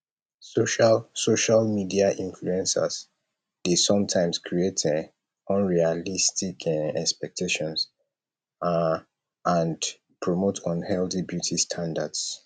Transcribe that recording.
social social media influencers dey sometimes create um unrealistic um expectations um and promote unhealthy beauty standards